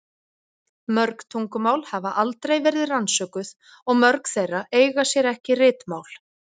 Mörg tungumál hafa aldrei verið rannsökuð og mörg þeirra eiga sér ekki ritmál.